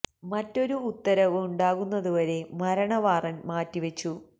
മറ്റൊരു ഉത്തരവ് ഉണ്ടാകുന്നത് വരെ മരണ വാറണ്ട് മാറ്റി വെച്ചു